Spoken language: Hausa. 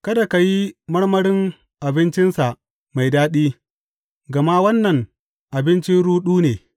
Kada ka yi marmarin abincinsa mai daɗi gama wannan abinci ruɗu ne.